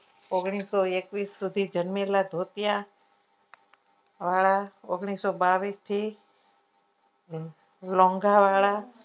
ઓગણીસો એકવીસ સુધી જન્મેલા ધોતિયા વાળા ઓગણીસો બાવીસથી લોન્ગા વાળા